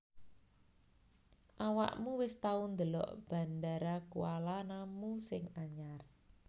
Awakmu wis tau ndelok Bandara Kuala Namu sing anyar